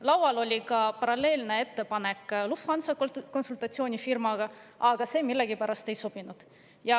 Laual oli ka paralleelne ettepanek Lufthansa konsultatsioonifirmaga, aga see millegipärast ei sobinud.